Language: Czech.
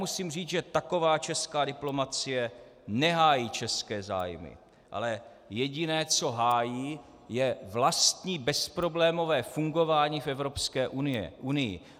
Musím říci, že taková česká diplomacie nehájí české zájmy, ale jediné, co hájí, je vlastní bezproblémové fungování v Evropské unii.